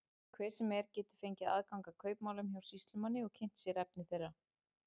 Hver sem er getur fengið aðgang að kaupmálum hjá sýslumanni og kynnt sér efni þeirra.